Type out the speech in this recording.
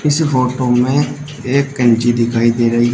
इस फोटो में एक कैंची दिखाई दे रही है।